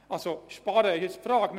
Ob das Sparen ist, fragt sich.